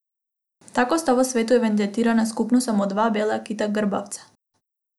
Tako sta v svetu evidentirana skupno samo dva bela kita grbavca.